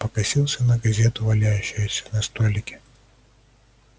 покосился на газету валяющуюся на столике